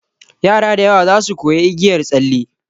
Yara da yawa zasu koya igiyar tsalle.